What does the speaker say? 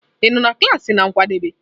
Ị nọ na klaasị n'oge nkwadebe?